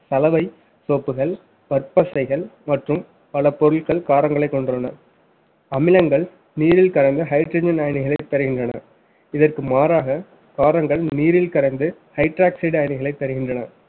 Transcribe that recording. சலவை soap கள் பற்பசைகள் மற்றும் பல பொருட்கள் காரங்களை கொண்டுள்ளன அமிலங்கள் நீரில் கலந்து hydrogen அயனிகளை தருகின்றன இதற்கு மாறாக காரங்கள் நீரில் கரைந்து hydroxide அயனிகளை தருகின்றன